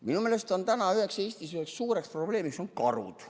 Minu meelest on Eestis üks suur probleem karud.